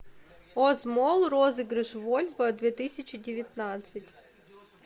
оз молл розыгрыш вольво две тысячи девятнадцать